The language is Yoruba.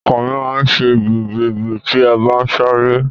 Ọkàn mi máa ma ṣe gbì gbì gbì tí n bá sáré.